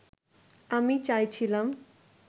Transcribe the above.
আমি চাইছিলাম